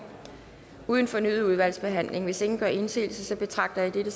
uden fornyet udvalgsbehandling hvis ingen gør indsigelse betragter jeg dette